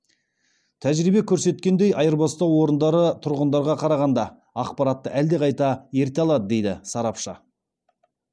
тәжірибе көрсеткендей айырбастау орындары тұрғындарға қарағанда ақпаратты әлдеқайда ерте алады дейді сарапшы